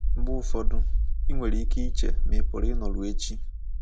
Mgbe ụfọdụ, ị nwere ike iche ma ị pụrụ ịnọru echi.